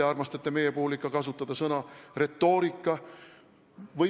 Te armastate meie puhul ikka kasutada sõna "retoorika".